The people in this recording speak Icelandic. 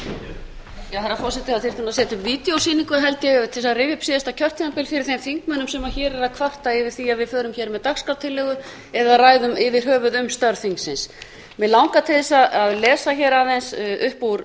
setja upp vídeósýningu held ég til þess að rifja upp síðasta kjörtímabil fyrir þeim þingmönnum sem hér eru að kvarta yfir því að við förum hér með dagskrártillögu eða ræðum yfir höfuð um störf þingsins mig langar til þess að lesa hér upp úr